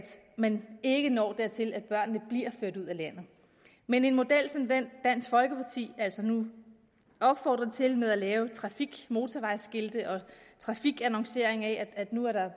man ikke når dertil at børnene bliver ført ud af landet men en model som den dansk folkeparti altså nu opfordrer til med at lave trafikmotorvejsskilte og trafikannoncering af at nu er